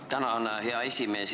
Tänan, hea esimees!